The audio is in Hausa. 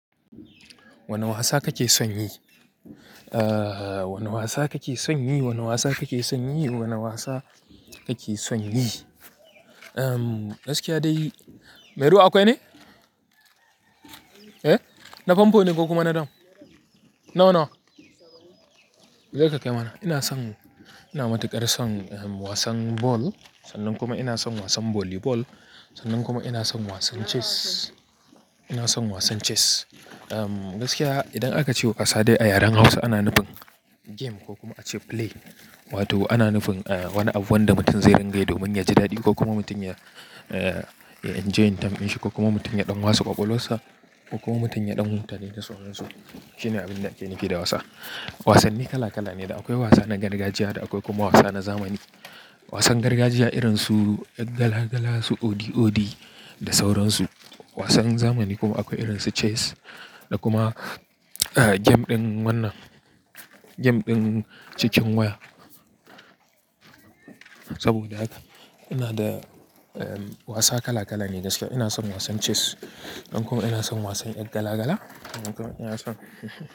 Wane wasa kake son yi? Wane wasa kake son yi? Wane wasa kake son yi? Wane wasa kake son yi? Gaskiya dai, Mai ruwa akwai ne? Na famfo ne ko kuma na dam? Nawa-nawa. Je ka kai mana. Ina son, ina matuƙar son wasan ball. Sannan kuma ina son wasan volley ball. Sannan kuma ina son wasan chess. Ina son wasan chess. Gaskiya idan aka ce asali a yaren Hausa ana nufin game ko kuma ace play. Wato ana nufin wani abu wanda mutum zai ringayi domin yaji daɗi ko kuma mutum ya, ya enjoy time ɗin shi ko kuma mutum ya ɗan wasa ƙwaƙwalwar sa ko kuma mutum ya ɗan huta ne da sauransu. Shine abin da ake nufi da wasa. Wasanni kala kala ne da akwai wasa na gargajiya da akwai kuma wasa na zamani. Wasan gargajiya irin su ƴar gala-gala, su odi-odi da sauransu. Wasan zamani kuma akwai irin su chess da kuma game ɗin wannan, game ɗin cikin waya. Saboda haka ina da wasa kala kala ne gaskiya. Ina son wasan chess. Dan kuma ina son wasan ƴan gala-gala. Kuma ina son.